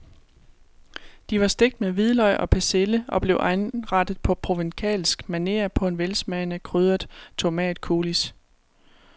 De var stegt med hvidløg og persille og blev anrettet på provencalsk maner på en velsmagende krydret tomatcoulis.